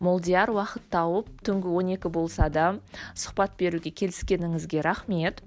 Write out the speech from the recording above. молдияр уақыт тауып түнгі он екі болса да сұхбат беруге келіскеніңізге рахмет